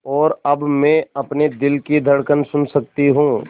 और अब मैं अपने दिल की धड़कन सुन सकती हूँ